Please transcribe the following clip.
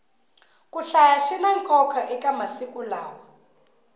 ku hlaya swina nkoka eka masiku lawa